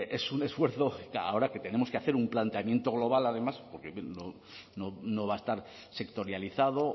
es un esfuerzo ahora que tenemos que hacer un planteamiento global además porque no va a estar sectorializado